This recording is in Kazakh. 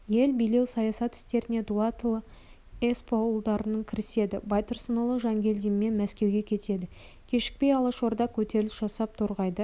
ел билеу саясат істеріне дулатұлы есполұлдары кіріседі байтұрсынұлы жангелдинмен мәскеуге кетеді кешікпей алашорда көтеріліс жасап торғайды